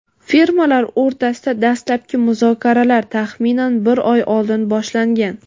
firmalar o‘rtasida dastlabki muzokaralar taxminan bir oy oldin boshlangan.